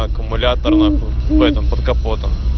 аккумулятор в этом под капотом